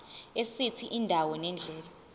esithi indawo nendlela